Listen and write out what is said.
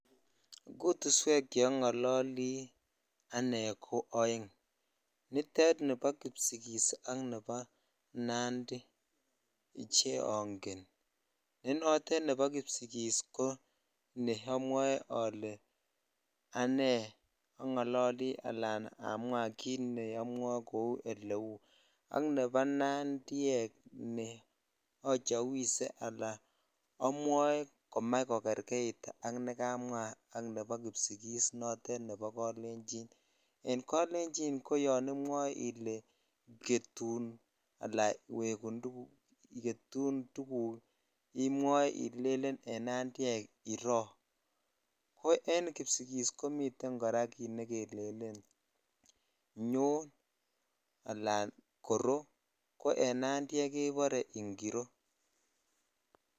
Jutuswek che ongololi ane ko oeng nitet nibo kipsingis ak nebo nandiche ongen ne notet nebo kipsingis ko neomwoe ole anei ongololi alan amwaa kit ne amwae ko kit kou ole u ak nebo nandiek neachawise ala amwoe komach kogerjeit ak nekamwa nebo kipsigis notet nebo kolenjinen kolenji koyon imwoe ele ketun ala wegun tuguk imwoe imwoe en nandiek ilelen iroo ko en kipsigis komii kit kora nekelelen nyon ala korot ko en nandiek kebore ingiro.